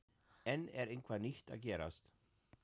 En er eitthvað nýtt að gerast?